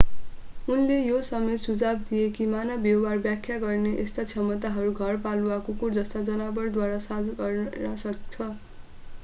उनले यो समेत सुझाव दिए कि मानव व्यवहार व्याख्या गर्ने यस्ता क्षमताहरू घरपालुवा कुकुर जस्ता जनावरद्वारा साझा गरिन सक्छ